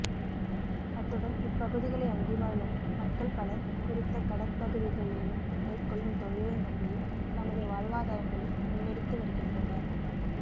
அத்துடன் இப்பகுதிகளை அண்டி வாழும் மக்கள் பலர் குறித்த கடற்பகுதிகளில் மேற்கொள்ளும் தொழிலை நம்பியே தமது வாழ்வாதாரங்களை முன்னெடுத்து வருகின்றனர்